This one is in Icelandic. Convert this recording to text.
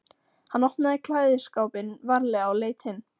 Hann opnaði klæðaskápinn varlega og leit inn.